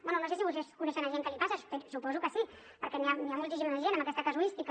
bé no sé si vostès coneixen gent que li passa suposo que sí perquè n’hi ha moltíssima de gent amb aquesta casuística